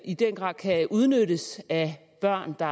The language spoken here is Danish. i den grad kan udnyttes af børn der